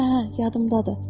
Hə, hə, yadındadır.